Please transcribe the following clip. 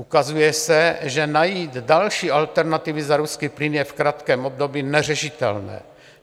Ukazuje se, že najít další alternativy za ruský plyn je v krátkém období neřešitelné.